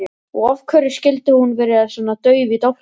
Og af hverju skyldi hún vera svona dauf í dálkinn?